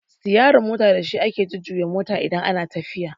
Sitiyarin mota da shi ake jujjuya mota idan ana tafiya